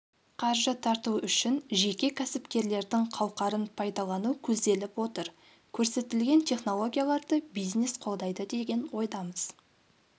қаржы тарту үшін жеке кәсіпкерліктердің қауқарын пайдалану көзделіп отыр көрсетілген технологияларды бизнес қолдайды деген ойдамыз